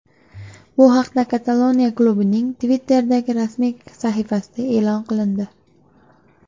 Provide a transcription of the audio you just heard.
Bu haqda Kataloniya klubining Twitter’dagi rasmiy sahifasida e’lon qilindi .